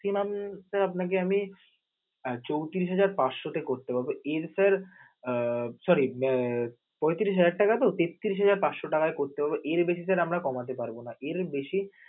Maximum sir আপনাকে আমি আহ চৌত্রিশ হাজার পাঁচশ তে করতে পারব এর sir আহ sorry আহ পঁয়ত্রিশ হাজার টাকা তো তেত্রিশ হাজার পাঁচশ টাকায় করতে পারব এর বেশি sir আমরা করতে পারব না. এর বেশি